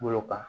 Bolo kan